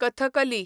Kathakali